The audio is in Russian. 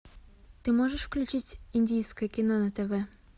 ты можешь включить индийское кино на тв